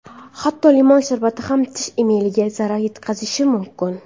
Hatto limon sharbati ham tish emaliga zarar yetkazishi mumkin.